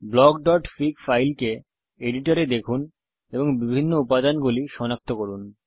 blockফিগ ফাইলকে এডিটর এ দেখুন এবং বিভিন্ন অংশগুলি সনাক্ত করুন